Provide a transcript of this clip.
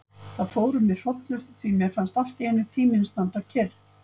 Það fór um mig hrollur því mér fannst alltíeinu tíminn standa kyrr.